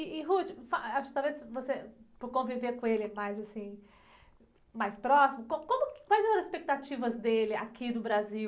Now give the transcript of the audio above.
E, e, fa, talvez por conviver com ele mais, assim, mais próximo, co, como, quais eram as expectativas dele aqui no Brasil?